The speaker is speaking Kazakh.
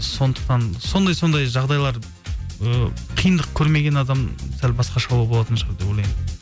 сондықтан сондай сондай жағдайлар ы қиындық көрмеген адам сәл басқашалау болатын шығар деп ойлаймын